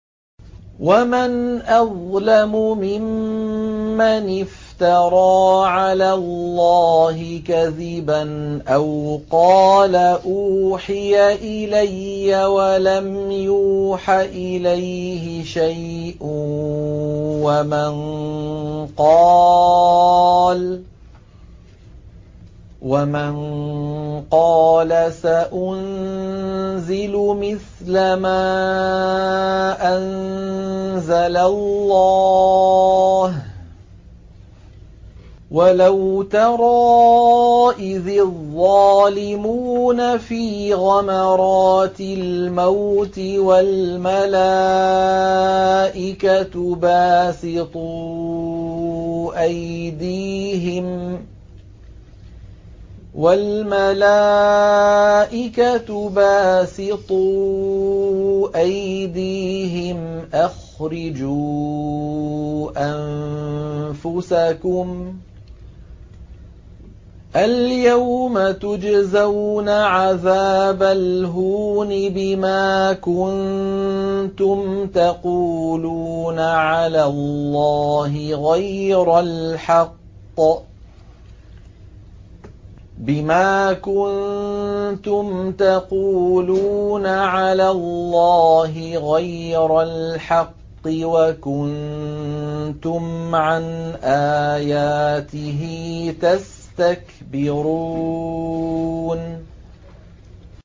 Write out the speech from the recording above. وَمَنْ أَظْلَمُ مِمَّنِ افْتَرَىٰ عَلَى اللَّهِ كَذِبًا أَوْ قَالَ أُوحِيَ إِلَيَّ وَلَمْ يُوحَ إِلَيْهِ شَيْءٌ وَمَن قَالَ سَأُنزِلُ مِثْلَ مَا أَنزَلَ اللَّهُ ۗ وَلَوْ تَرَىٰ إِذِ الظَّالِمُونَ فِي غَمَرَاتِ الْمَوْتِ وَالْمَلَائِكَةُ بَاسِطُو أَيْدِيهِمْ أَخْرِجُوا أَنفُسَكُمُ ۖ الْيَوْمَ تُجْزَوْنَ عَذَابَ الْهُونِ بِمَا كُنتُمْ تَقُولُونَ عَلَى اللَّهِ غَيْرَ الْحَقِّ وَكُنتُمْ عَنْ آيَاتِهِ تَسْتَكْبِرُونَ